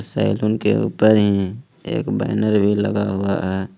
Salon के ऊपर ही एक बैनर भी लगा हुआ है।